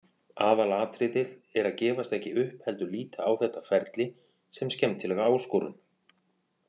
Aðalatriðið er að gefast ekki upp heldur líta á þetta ferli sem skemmtilega áskorun.